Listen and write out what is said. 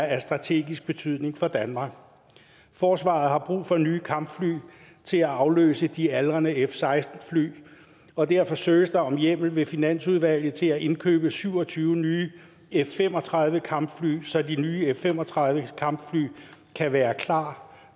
af strategisk betydning for danmark forsvaret har brug for nye kampfly til at afløse de aldrende f seksten fly og derfor søges der om hjemmel ved finansudvalget til at indkøbe syv og tyve nye f fem og tredive kampfly så de nye f fem og tredive kampfly kan være klar